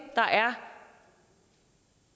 der er